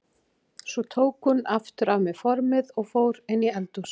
Svo tók hún aftur af mér formið og fór inn í eldhús.